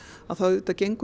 þá auðvitað gengur